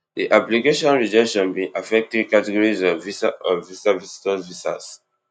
di application rejection bin affect three categories of visa of visa visitor visas